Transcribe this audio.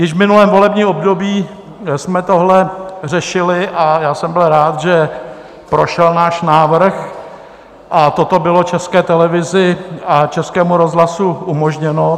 Již v minulém volebním období jsme tohle řešili a já jsem byl rád, že prošel náš návrh a toto bylo České televizi a Českému rozhlasu umožněno.